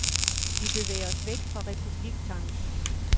Vi bevæger os væk fra republiktanken.